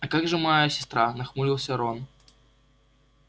а как же моя сестра нахмурился рон